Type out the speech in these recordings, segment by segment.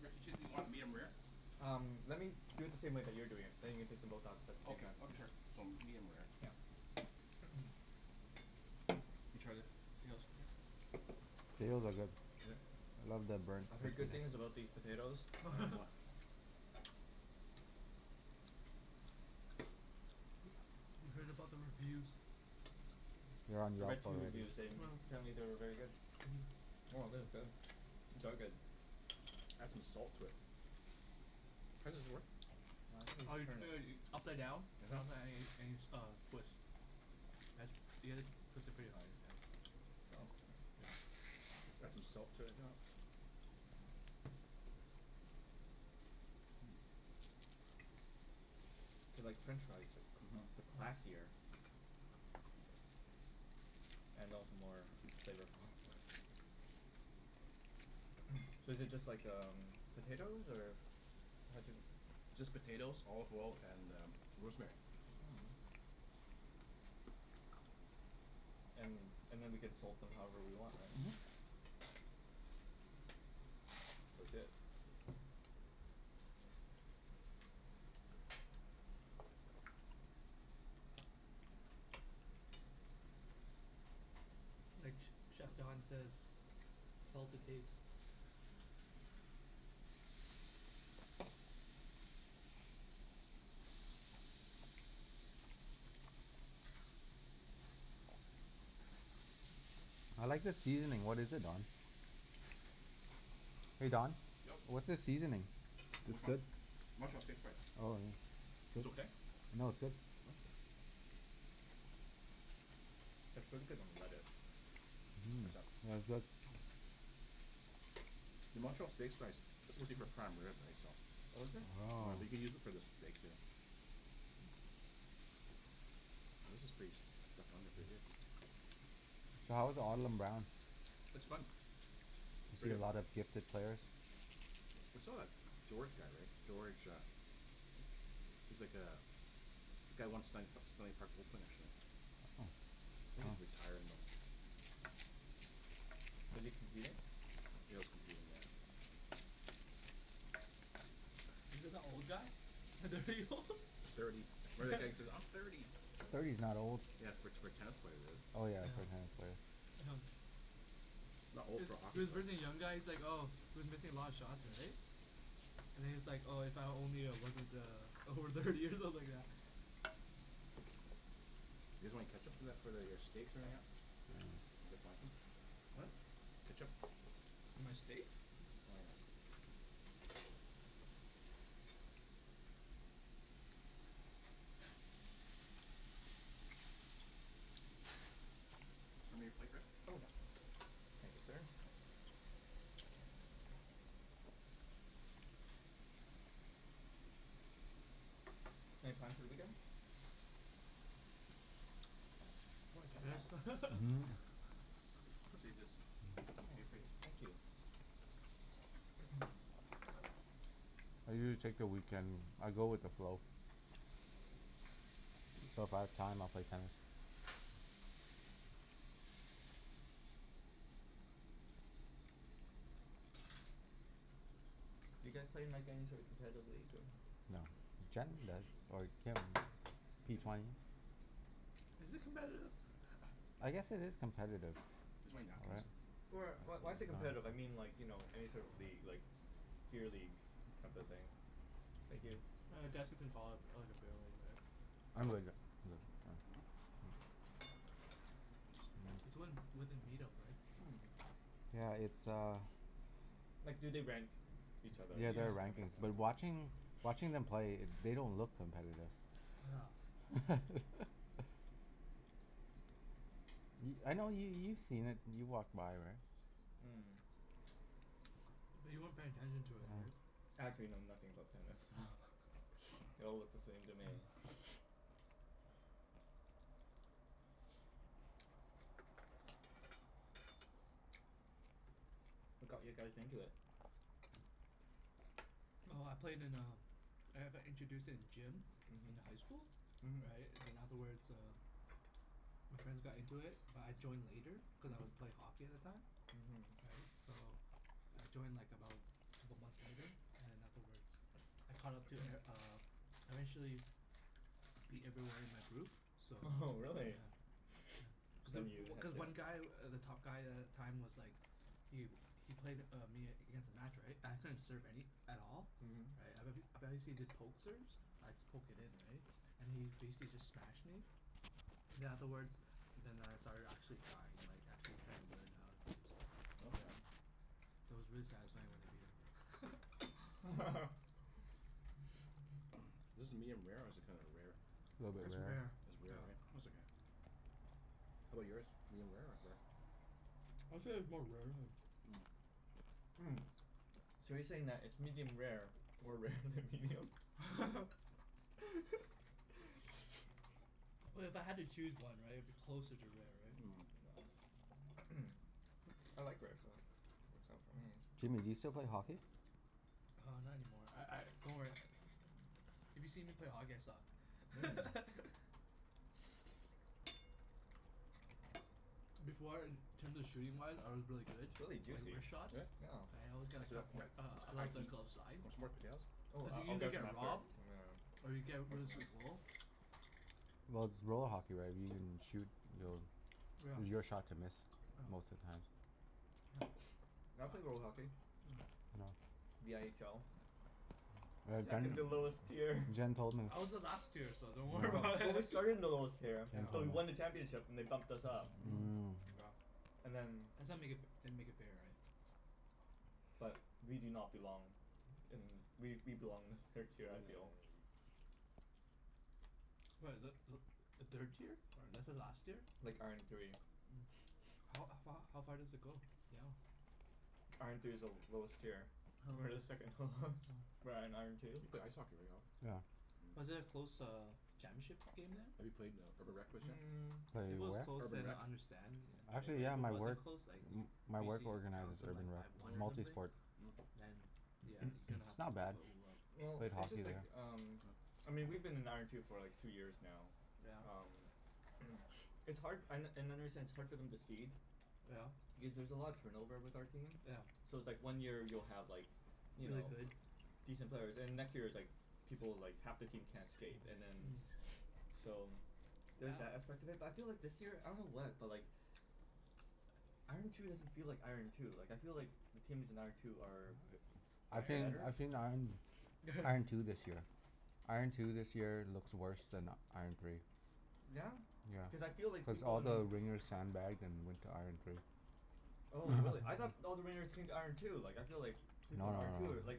Rick, the chickpea, you want it medium-rare? Um, let me do it the same way that you're doing it, then you can take them both out at by the same Okay, time. okay sure. So medium-rare. Yeah. You try the The potatoes are good. Love the burnt I've heard good things crispiness. about these potatoes. I am wa- You heard about the reviews. They're on I Yelp read two already. reviews and Mm. apparently they were very good. Mhm. Oh, thith is good. These are good. Add some salt to it. How does this work? Ah, I think you Oh just you turn it. should ea- upside down. uh-huh. Uh, twist. As, you gotta twist it pretty hard, yeah. Oh. Yeah. Add some salt to it, yeah. They're like French fries but c- Mhm. but classier. Mhm. And also more flavorful. So is it just like um, potatoes? Or How'd you m- It's just potatoes, olive oil, and uh rosemary. Mm. And and then we can salt them however we want, right? Mhm. That's legit. Like ch- chef Don says salt to taste. I like the seasoning. What is it, Don? Hey Don? Yep. What's the seasoning? For It's which one? good. Montreal steak spice. Oh, yeah. Was okay? No, it's good. Mm. It's pretty good on lettuce. Mhm. What's that? No, it's good. The Montreal steak spice, it's supposed to be for prime rib right? So Oh, is it? Yeah, I Oh. think they use it for the steak too. This is pretty stuck on there pretty good. So how was It's fun. You Pretty see a good. lot of gifted players? We still got George guy, right? George uh he's like uh, guy won Stan- P- Stanley Park Open, actually. Oh. I think he's Oh. retired now. Was he competing? Yeah, he was competing, yeah. Is it that old guy? old? Thirty. "I'm thirty." Thirty's not old. Yeah, for t- for a tennis player it is. Oh, yeah. For a tennis Yeah. player. Not old Is for a hockey is for player. birthing young guys like oh, he was missing a lot of shots, right? And he's like, "Oh, if only I wasn't uh over thirty" or something like that. You guys want any ketchup for that for th- for your steaks or anything at? Mm. We could find some. What? Ketchup? For my steak? Oh no. Show me your plate, Rick? Oh, yeah. Thank you, sir. Thanks. Any plans for the weekend? Probably tennis. Mhm. Save this o- Oh, okay for you? thank you. I usually take the weekend, I go with the flow. But if I have time, I'll play tennis. Do you guys play in like any sort of competitive league, or? No. Jen does, or Kim. P twenty. Is it competitive? I guess it is competitive. You guys want any napkins? Right? Or wh- why's it competitive? I mean like, you know, any sort of league, like beer league, type of thing? Thank you. I guess you can call it like a beer league, right? I'm good mm. It's Mm. when, within meet-up, right? Yeah, it's uh Mm. Like do they rank each other? Yeah, That's there Yeah. are what I mean rankings. But so- watching watching them play, they don't look competitive. Yeah. Y- I know yo- you've seen it. You've walked by, right? Mm. But you weren't paying attention to it, Oh. right? Actually know nothing about tennis, so they all look the same to me. What got you guys into it? Oh, I played in um I've I introduced it in gym in the high school. Mhm. Mhm. Right? And then afterwards uh my friends got into it but I joined later cuz I was play hockey at the time. Mhm. Right? So I joined like about couple months later. And then afterwards I caught up to e- uh I Mhm. eventually beat everyone in my group. So Oho, really? yeah Cuz i- Then you w- had cuz to one guy, w- the top guy a- at the time was like Yu. He played uh me against a match, right? I couldn't serve any at all. Right? I bet h- I bet he see the poke serves? I'd just poke it in, right? And he basically just smashed me Mhm. then afterwards then I started actually trying. Like actually trying to learn how do stuff, you Okay. Okay. know? So it was really satisfying when I beat him. Is this medium-rare, or is it kinda rare? A little bit It's rare, rare. It's rare, yeah. right? It's okay. How 'bout yours? medium-rare or rare? I'd say it's more rare than Mm. Mm, so you're saying that it's medium rare more rare than medium? Well, if I had to choose one, right? It'd be closer to rare, right? Mm. Yeah. I like rare, so works out for me. Jimmy, you still play hockey? Uh, not any more. I I, don't worry if you see me play hockey I Mm. suck. Before in terms of shooting-wise I was really good It's really like juicy. wrist shots? Yeah? Yeah. I always got a It's a a coup- it's uh high glove the heat. glove side. Want some more potatoes? Oh, Did I you I'll usually get some get after, robbed? Mhm. Or you nyeah, get rid of finish this. some goal? Well, it's roll hockey, right? If you can shoot you'll Yeah. it was your shot to miss, most of the time. Yeah. I play roll hockey. No. Yeah. The n h l. Yeah, Second to Yeah. lowest tier. Jen Jen told me. I was the last tier, so don't worry Oh, about but we it. started in the lowest tier Jen but told we me. won the Yeah. championship and they bumped us up. Mm. Mm. Wow. And then That's how make it f- they make it fair, right? but we do not belong in, we we belong in the third tier I feel. What, is that Mm. th- the third tier? This is last year? Like, iron three. Mm. How a f- h- how far does it go down? Iron three is the l- lowest tier. Oh. Oh. We're the second h- lowest. We're at iron two. You play ice hockey, right Alan? Yeah. Was Mm. it a close uh championship game then? Have you played in a Mm. If it Played was where? close Urban then Rec? I understand yeah, right? Actually But if yeah, it my wasn't work close like m- my work BC organizes trounced them Urban like Rec. five one or Multi something? Mm. sport. Mm. Then yeah, you kinda It's have not to bad. Well, Played it's hockey just like there. um I mean we've been in iron two for like two years now. Yeah? Um It's hard an- and I understand it's hard for them to cede Yeah. because there's a lot of turnover with our team. Yeah. So it's like one year you'll have like you Really know, good? decent players. And the next year it's like people, like half the team can't skate, and then So there's that aspect of it. But I feel like this year, I don't know what, but like Mhm. iron two doesn't feel like iron two. Like I feel like the teams in iron two are are I've seen better. I've seen iron iron two this year. Iron two this year looks worse than iron three. Yeah? Yeah. Cuz I feel like Cuz people all in the wringers sand-bagged and went to iron three. Oh really? I thought all the ringers came to iron two. Like I feel like No people in no no iron two are no, yeah. like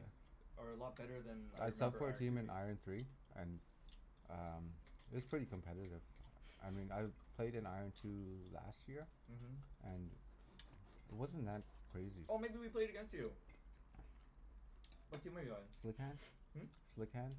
are a lot better than I I subbed remember for a iron three team in being. iron three and um it was pretty competitive. I mean I've played in iron two last year. Mhm. And it wasn't that crazy. Oh, maybe we played against you? What team are you on? Slick hands. Hmm? Slick hands.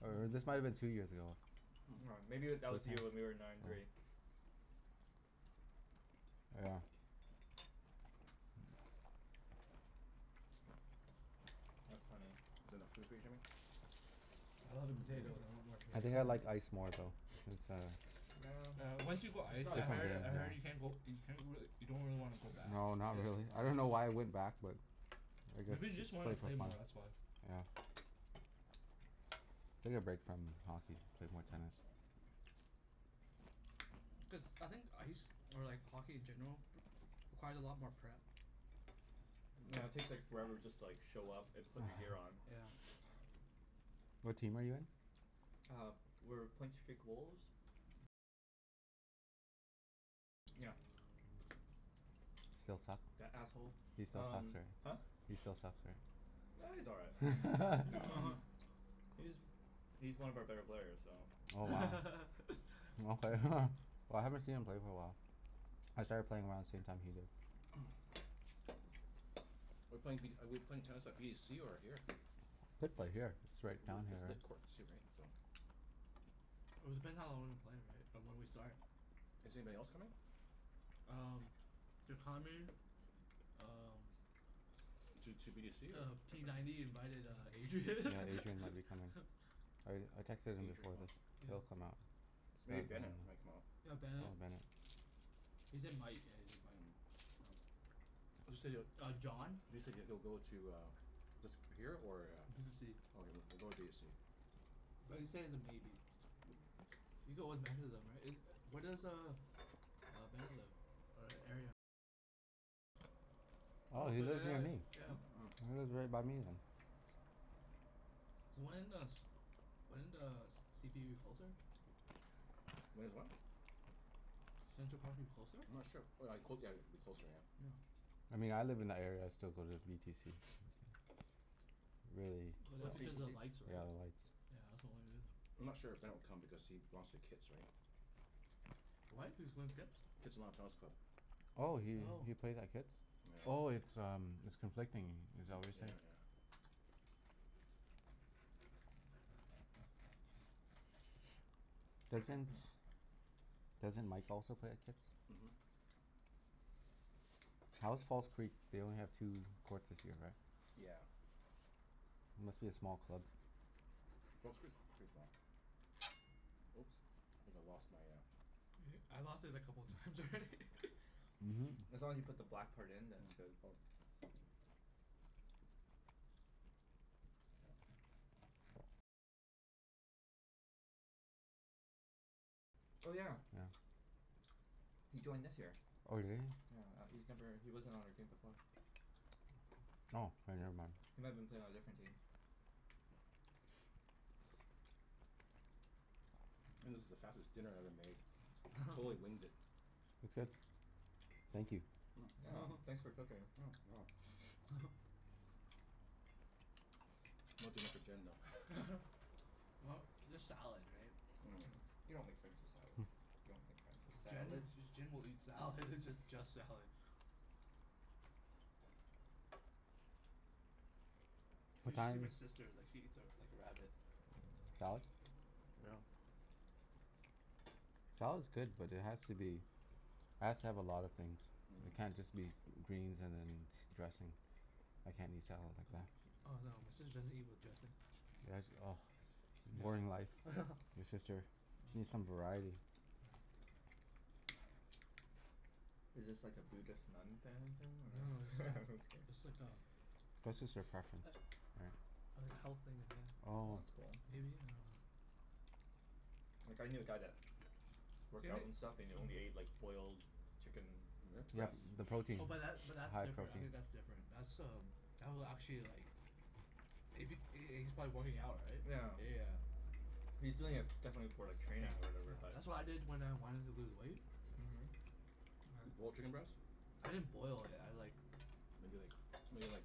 Or or this might have been two years ago. M- aw Hmm. maybe Slick w- hands? that Oh. was the year when we were in iron three. Yeah. That's funny. Is it enough food for you, Jimmy? I love the potatoes. I want more I potatoes. think I Mm. like ice more though. Cuz uh Yeah, Yeah, once it's you go ice it's not as I different heard I game, heard you yeah. can't go you can't really, you don't really wanna go back. No, not really. I don't know why I Yeah. went back but I guess Maybe you just just to wanted play to for play fun. more, that's why. Yeah. Take a break from hockey. Played more tennis. Mm. Cuz, I think ice or like hockey in general requires a lot more prep. Yeah, it Mm. takes like forever just to like show up and put your gear on. Yeah. What team are you in? Uh, we're Point Streak Wolves. Still suck? That asshole. He still sucks, Um right? Huh? He still sucks, right? Ah, he's all right. No. Mhm. He's he's one of our better players, so Oh, wow. Okay. Well, I haven't seen him play for a while. I started playing around the same time he did. We're playing v- we're playing tennis by b to c or here? Could play here. It's right down here, It's lit right? courts too, right? It was depending how long we play, right? Or when we start. Is anybody else coming? Um Um Two two b to c or Uh, p ninety invited uh Yeah, Adrian. Adrian might be coming. I r- I texted him Adri- before oh. this. Yeah. He'll come out. Maybe Bennett might come out. Yeah, Oh, Bennett. Bennett. He said might. Yeah, he said might, so Mm. You said it Uh, John. You said he'll go to uh this here or a B to c. Okay, w- we'll go with b of c. But he said he's a maybe. You go with right? Is u- where Mm. does uh uh Bennett live? Hmm? Oh, he lives near me? He lives right by me then. So when does when does c p u closer? Mm. When is what? I'm Central Park move closer? not sure. W- w cl- yeah, like it'd be closer, yeah. Yeah. I mean I live in that area, I still go to v t c. Really. But that's What's v t because of c? lights, Yeah, right? the lights. Yeah, that's the only reason. I'm not sure if Ben will come because he lost to Kits, right? What? He was going to Kits? Kitsilano Tennis Club. Oh, he Oh. he plays at Kits? Oh, Yeah. it's um it's conflicting. Is that what Yep, you're yeah, saying? yeah. Doesn't doesn't Mike also play at Kits? Mhm. How is False Creek? They only have two courts this year, right? Yeah. Must be a small club. False Creek's pretty small. Oops. I think I lost my uh E- I lost it a couple times already. Mhm. As long as you put the black part in then it's good. Mm. Yeah. Oh yeah. Yeah. He joined this year. Oh, did he? Yeah. Uh he's never, he wasn't on our team before. Oh, k never mind. He might have been playing on a different team. This is the fastest dinner I ever made. Totally winged it. It's good. Thank you. Mm. Yeah. You're welcome. Thanks for cooking. Mm. No dinner for Jen, though. Well, there's salad, right? Mhm. You don't make friends with salad. You don't make friends with Jen salad. J- Jen will eat salad. Just just salad. Hmm. What You should see my time sister is like, she eats a like a rabbit. Salad? Salad's good, but it has to be has to have a lot of things. Yeah. It Mm. can't just be g- greens and then s- dressing. I can't eat salad like Oh that. yeah. Oh, no, my sister doesn't eat with dressing. Yeah, sh- ah. Boring life, Yeah. your sister. She needs some variety. Is this like a Buddhist nun family thing, Mm. Mm. No no, it's or? like Just it's like a kidding. That's just her preference, a- right? like health thing ahe- Well Oh. that's cool. maybe? I dunno. Like I knew a guy that Same worked out and stuff, and he only ate like i- boiled chicken mm Yep, breast. the Really? protein. Oh The but that but that's high different. I protein. think that's different. That's um that will actually like if he h- h- he's probably working out, right? Yeah. Yeah, yeah. He's Yeah. doing it definitely for like Yeah, training or yeah. whatever, but That's what I did when I wanted to lose weight. Mhm. Boiled chicken breast? Right. I didn't boil it, I like Maybe like made it like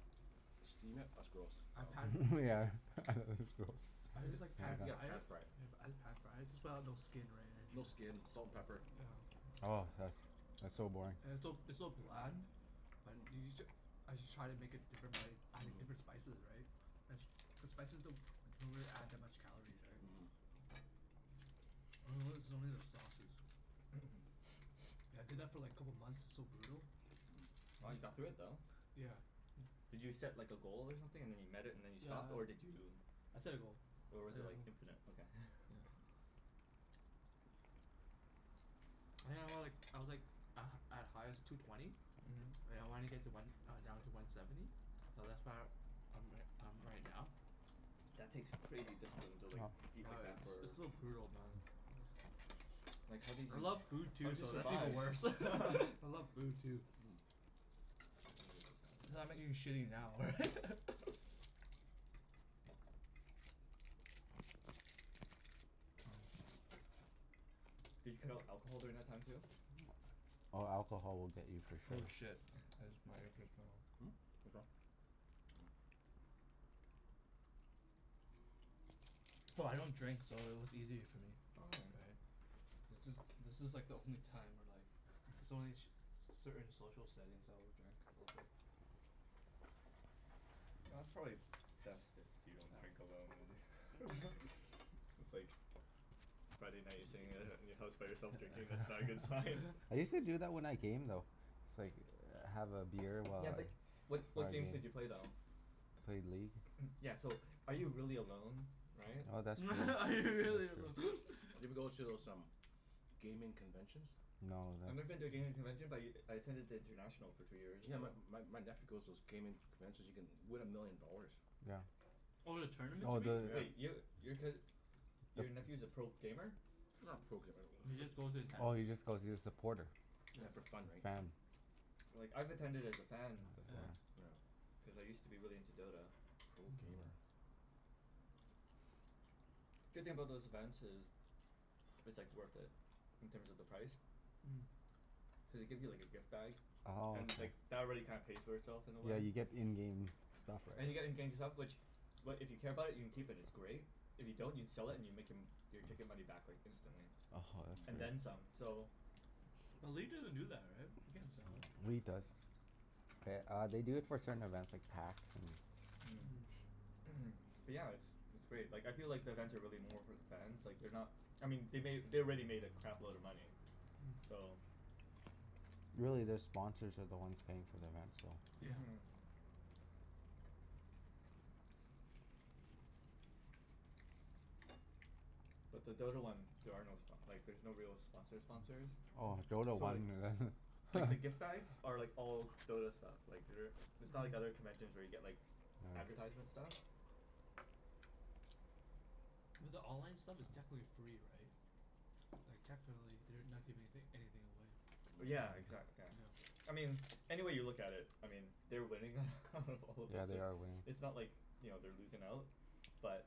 steam it? That's gross. I Um pan Myeah, this is gross. I just like Pa- pan yeah, fried it. pan-fry it. Yep, I just pan fried. Just put out no skin or No anything, yeah. skin. Salt and pepper. Yeah. Oh, that's that's so boring. It's so it's so bland. But you you j- as you try to make it different by adding different spices, right? The s- the spices don't don't really add that much calories, right? Mhm. I notice it's only Mhm. the sauces. I did that for like a couple months. It's so brutal. Wow, you got through it though. Yeah. Yeah. Did you set like a goal or something, and then you met it and then you Yeah stopped? I Or did you I set a goal. or Yeah, was I it ho- like, infinite? Okay. yeah. I think I was like, I was like a at highest, two twenty. And I wanna get to one uh down to one seventy. Mhm. So that's where I'm ri- I'm right now. That takes crazy discipline to like eat Yeah, like that it's s- for it's so brutal, man. Like how did I you, love food how too, did you so that's even survive? worse. I love food, too. Mm. I'm gonna move the salad Cuz I'm now. not Oh. eating shitty now, right? Did you cut out alcohol during that time too? Hmm? Oh, alcohol will get you for Oh sure. shit, I jus- my earpiece fell off. No, I don't drink so it was easy for me. Okay. Right? This is, this is like the only time where like It's only in sh- c- certain social settings I will drink a little bit. Well, that's probably best if you don't drink alone and It's like Yeah. Friday night you're sitting at i- in your house by yourself drinking. That's not a good sign. I use to do that when I game, though. It's like, have a beer while Yeah I but what while what I game. games did you play though? Played League. Yeah so, are you really alone? Right? Oh, that's true. That's Are you really true. alone? Have you ever go to those um gaming conventions? No, I've never been to a that's gaming convention but y- I attended the international for two years in Yeah, a my row. my my nephew goes to those gaming conventions. You can win a million dollars. Yeah. Oh, the tournaments, Oh, you mean? the Wait, Yeah. yo- your cous- your the nephew's a pro gamer? Not a pro gamer. He just goes to attend. Oh, he just goes, he's a supporter. Yeah, for fun, right? So Fan. Like, I've attended as a fan Oh, Yeah. before. yeah. Yeah. Cuz I used to be really into Dota. Pro Mhm. gamer. Yeah. Good thing about those events is it's like Mm. worth it, in terms of the price. Cuz they give you like a gift bag, Mm. Oh, and okay. like that already kinda pays for itself in a way. Yeah, you get in-game stuff, right? And you're getting gaming stuff which, what, if you care about it you can keep, and it's great. If you don't you can sell it and you make em- your ticket money back like instantly. oh ho, that's And Mm. then great. some, so But leet doesn't do that, right? You can't sell it. League does. Th- uh, they do it for certain events, like Hacks and Mm. Mm. Mm. But Yeah. yeah, it's it's great. Like, I feel like the events are really more for the fans. Like, they're not I mean they made, they already made a crap load of money. So Really, their sponsors are the ones paying for events, so Mhm. But the Dota one, there are no spo- like there's no real sponsor sponsors. Oh. Oh, Dota So one like like the gift bags are like all Dota stuff. Like they're it's not like other conventions where you get like Yeah. advertisement stuff. Mhm. But the online stuff is technically free, right? Like technically they're not giving anyth- anything away. Mm. Yeah, exac- yeah. I Yeah. mean any way you look at it I mean they're winning out of all this Yeah, they and are winning. it's not like, you know, they're losing out. But